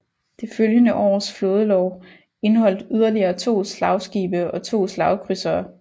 Det følgende års flådelov indholdt yderligere to slagskibe og to slagkrydsere